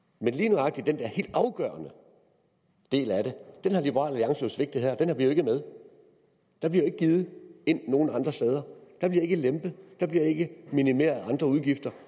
men lige nøjagtig den der helt afgørende del af det har liberal alliance jo svigtet her den er ikke med der bliver ikke givet nogen andre steder der bliver ikke lempet der bliver ikke minimeret andre udgifter